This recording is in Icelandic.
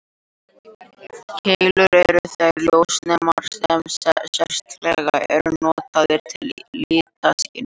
Keilur eru þeir ljósnemar sem sérstaklega eru notaðir til litaskynjunar.